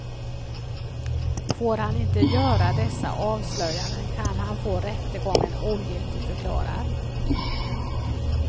Får han inte göra dessa avslöjanden kan han få rättegången ogiltigförklarad.